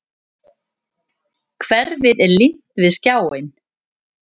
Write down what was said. Hverfið er límt við skjáinn.